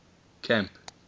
camp